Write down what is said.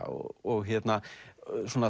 og